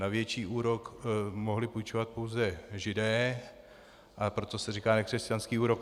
Na větší úrok mohli půjčovat pouze Židé, a proto se říká nekřesťanský úrok.